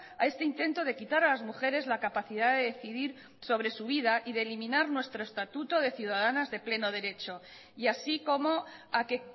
a este intento de quitar a las mujeres la capacidad de decidir sobre su vida y de eliminar nuestro estatuto de ciudadanas de pleno derecho y así como a que